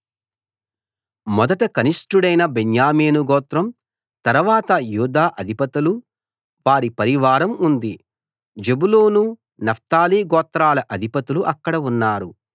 మొదట కనిష్ఠుడైన బెన్యామీను గోత్రం తరవాత యూదా అధిపతులు వారి పరివారం ఉంది జెబూలూను నఫ్తాలి గోత్రాల అధిపతులు అక్కడ ఉన్నారు